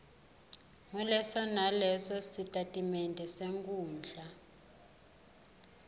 nguleso nalesositatimende senkhundla